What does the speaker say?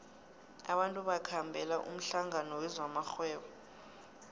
abantu bakhambela umhlangano wezamarhwebo